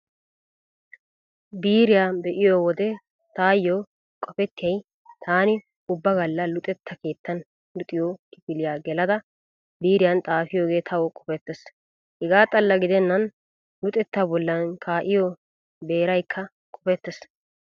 Biiriyaa be'iyo wode taayyo qopettiyay taani ubba galla luxetta keettan luxiyo kifiliyaa gelada biiriyan xaafiyoogee tawu qopettees. Hegaa xalla gidennan luxetta bollan kaa'iyo beeraykka qopettees.